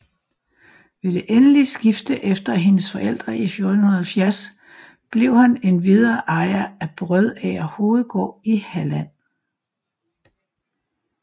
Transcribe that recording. Ved det endelige skifte efter hendes forældre i 1470 blev han endvidere ejer af Brødager Hovedgård i Halland